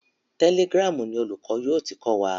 Telegram ni olùkọ́ yóò ti kọ́ wa.